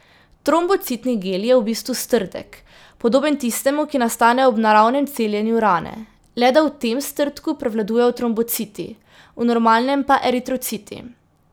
Trombocitni gel je v bistvu strdek, podoben tistemu, ki nastane ob naravnem celjenju rane, le da v tem strdku prevladujejo trombociti, v normalnem pa eritrociti.